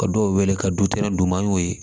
Ka dɔw wele ka du kɛnɛ d'u ma an y'o ye